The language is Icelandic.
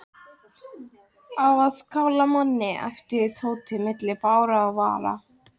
Á að kála manni æpti Tóti milli blárra vara.